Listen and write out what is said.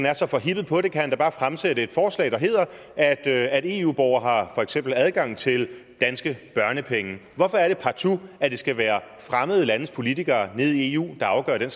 er så forhippet på det kan han da bare fremsætte et forslag der hedder at at eu borgere for eksempel har adgang til danske børnepenge hvorfor er det partout at det skal være fremmede landes politikere nede i eu der afgør den